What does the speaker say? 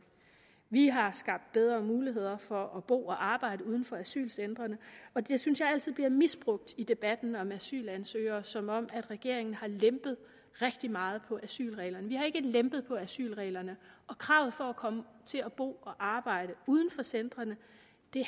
vi har skabt bedre muligheder for at bo og arbejde uden for asylcentrene og det synes jeg altid bliver misbrugt i debatten om asylansøgere som om regeringen har lempet rigtig meget på asylreglerne vi har ikke lempet på asylreglerne og kravet for at komme til at bo og arbejde uden for centrene